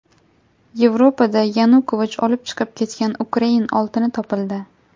Yevropada Yanukovich olib chiqib ketgan ukrain oltini topildi.